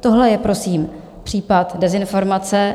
Tohle je prosím případ dezinformace,